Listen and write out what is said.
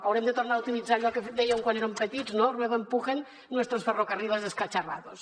haurem de tornar a utilitzar allò que dèiem quan érem petits no ruego empujen nuestros ferrocarriles escacharrados